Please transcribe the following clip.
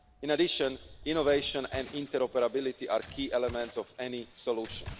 In addition, innovation and interoperability are key elements of any solution.